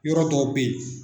Yɔrɔ dɔw bɛ ye.